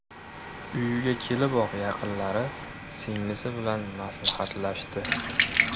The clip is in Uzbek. Uyiga keliboq, yaqinlari, singlisi bilan maslahatlashdi.